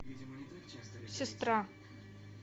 сестра